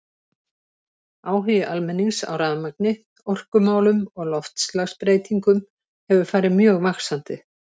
Áhugi almennings á rafmagni, orkumálum og loftslagsbreytingum hefur farið mjög vaxandi.